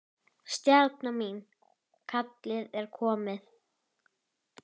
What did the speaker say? VILJIÐI OPNA!